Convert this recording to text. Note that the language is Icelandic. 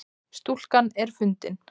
Stúlkan er fundin